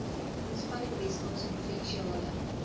ontspanning weskaapse provinsiale